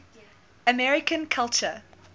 american culture